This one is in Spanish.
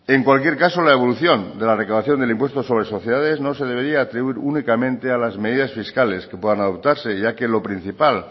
en cualquier caso la evolución de la recaudación del impuesto sobre sociedades no se debería atribuir únicamente a las medidas fiscales que puedan adoptarse ya que lo principal